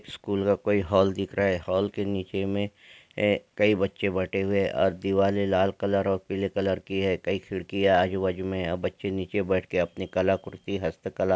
School का कोई hall दिख रहा है। हॉल के नीचे में कई बच्चे बैठे हुए अ दीवाले लाल कलर और पीले कलर की है। कई खिड़कीया आजू-बाजू में बच्चे नीचे बैठे के अपने कलाकृति हस्तकला --